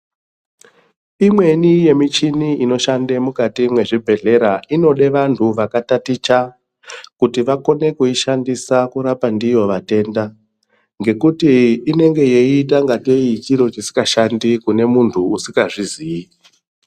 Imweni yemichini inoshanda mukati mezvibhedhlera inoda vantu vakataticha kuti vakone kushandisa kurapa ndiyo matenda ngekuti inenge yeita ngatei chiro chisingashandi kune muntu asingazvizivi.